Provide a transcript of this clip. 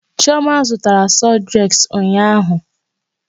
Chioma zụtara sọdreks ụnyaahụ.